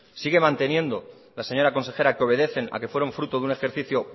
sigue manteniendo la señora consejera que obedecen a que fueron fruto de un ejercicio